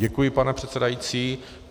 Děkuji, pane předsedající.